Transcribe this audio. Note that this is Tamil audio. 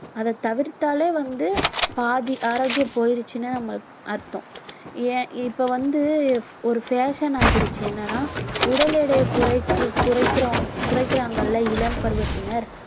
அதைத் தவிர்த்தாலே வந்து பாதி ஆரோக்கியம் போயிருச்சுன்னு நம்ம அர்த்தம் ஏன் இப்ப வந்து ஒரு fashion ஆக்கிடுச்சு என்னன்னா உடல் எடையை குறைக்கு~ குறைக்கிறோம் குறைக்கிறாங்கல்ல இளம் பருவத்தினர்